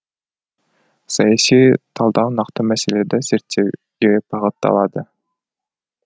саяси талдау нақты мәселелерді зерттеуге бағытталады